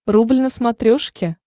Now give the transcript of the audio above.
рубль на смотрешке